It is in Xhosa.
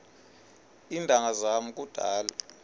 iintanga zam kudala